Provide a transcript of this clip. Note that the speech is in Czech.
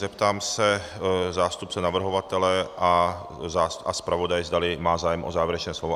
Zeptám se zástupce navrhovatele a zpravodaje, zda mají zájem o závěrečné slovo?